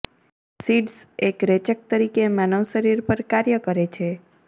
seeds એક રેચક તરીકે માનવ શરીર પર કાર્ય કરે છે